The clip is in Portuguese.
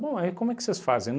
Bom, aí como é que vocês fazem?